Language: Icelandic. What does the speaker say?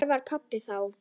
Þarna var pabbi þá.